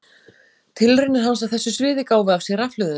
Tilraunir hans á þessu sviði gáfu af sér rafhlöðuna.